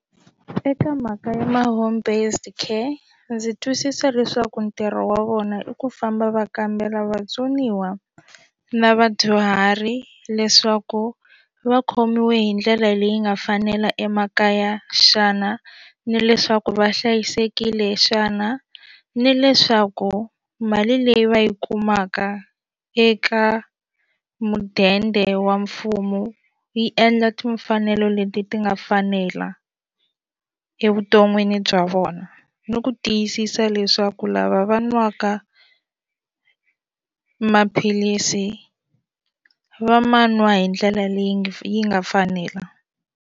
Eka mhaka ya ma home based care ndzi twisisa leswaku ntirho wa vona i ku famba va kambela vatsoniwa na vadyuhari leswaku va khomiwe hi ndlela leyi nga fanela emakaya xana ni leswaku va hlayisekile xana ni leswaku mali leyi va yi kumaka eka mudende wa mfumo yi endla timfanelo leti ti nga fanela evuton'wini bya vona ni ku tiyisisa leswaku lava va nwaka maphilisi va ma nwa hi ndlela leyi nga yi nga fanela.